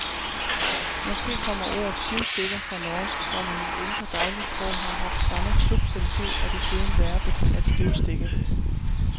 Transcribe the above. Måske kommer ordet stivstikker fra norsk, hvor man i ældre dagligsprog har haft samme substantiv og desuden verbet at stivstikke.